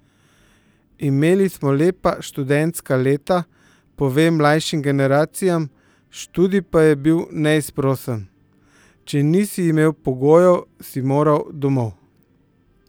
Imeli smo lepa študentska leta, pove mlajšim generacijam, študij pa je bil neizprosen: "če nisi imel pogojev, si moral 'domov'.